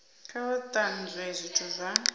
kha vha tanzwe zwithu zwa